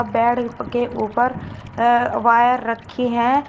Bed के ऊपर wire रखी हैं।